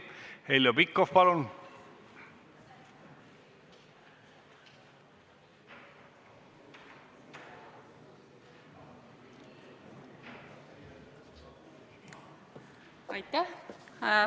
Heljo Pikhof, palun!